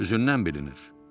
Üzündən bilinir.